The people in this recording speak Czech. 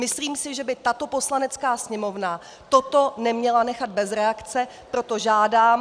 Myslím si, že by tato Poslanecká sněmovna toto neměla nechat bez reakce, proto žádám...